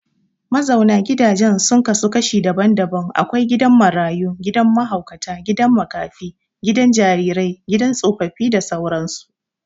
Mazauna gidaje sun kasu kashi daban-daban akwai gidan Marayu, gidan Mahaukata, gidan makafi, gidan jarire gidan tsofaffi da sauran su